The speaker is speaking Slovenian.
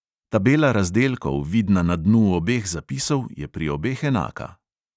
Tabela razdelkov, vidna na dnu obeh zapisov, je pri obeh enaka.